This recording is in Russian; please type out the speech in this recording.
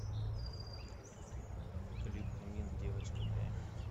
клип эмин девочка моя